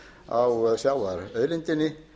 byggir einmitt á sjávarauðlindinni